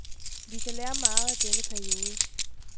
Vi kan lære meget af denne periode.